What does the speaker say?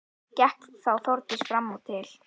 Gekk þá Þórdís fram og til